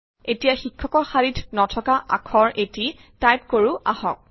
এতিয়া শিক্ষকৰ শাৰীত নথকা আখৰ এটি টাইপ কৰো আহক